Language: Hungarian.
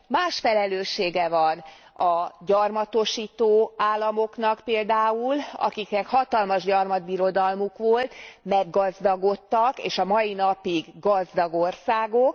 Más felelőssége van a gyarmatosító államoknak például, akiknek hatalmas gyarmatbirodalmuk volt, meggazdagodtak, és a mai napig gazdag országok.